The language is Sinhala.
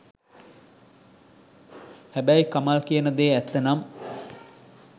හැබැයි කමල් කියන දේ ඇත්ත නම්